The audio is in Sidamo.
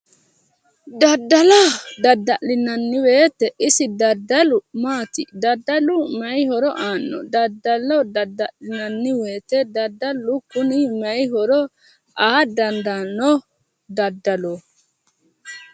Daddalo dadda'linayi woyiite daddalu maati? daddalu maayi horo aano? daddalo dadda'linanni woyiite daddalu kuni maayii horo aa dandaanno daddalooti.